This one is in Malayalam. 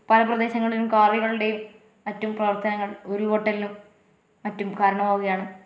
താഴുന്ന പ്രദേശങ്ങളിലും കാവുകളുടെയും മറ്റും പ്രവർത്തനങ്ങൾ ഉരുള് പൊട്ടലിനും മറ്റും കരണമാവുകയാണ്.